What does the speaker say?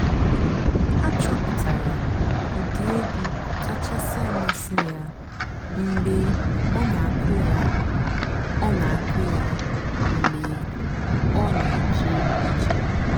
àchọ́pụ́tárá m ụ́dị́ ègwú kàchàsị́ àmásị́ yá mg̀bé ọ́ nà-àkụ́ yá ọ́ nà-àkụ́ yá mg̀bé ọ́ nà-èjé íje.